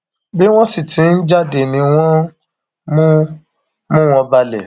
bí wọn sì ti ń jáde ni wọn ń mú mú wọn balẹ